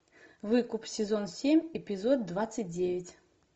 выкуп сезон семь эпизод двадцать девять